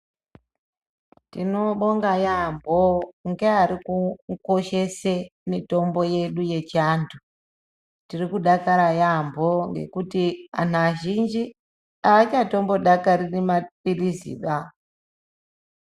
Tinobonga yaamho ngearikukoshesa mitombo yedu yechiantu tirikudakara yamho ngekuti vantu azhinji aavhadakariri mapilizi ba.